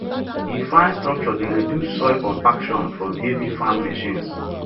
e fine structure dey reduce soil compaction from heavy farm machines